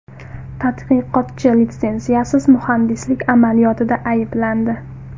Tadqiqotchi litsenziyasiz muhandislik amaliyotida ayblandi.